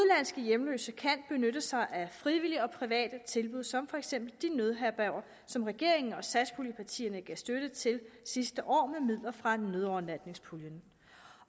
hjemløse kan benytte sig af frivillige og private tilbud som for eksempel de nødherberger som regeringen og satspuljepartierne gav støtte til sidste år med midler fra nødovernatningspuljen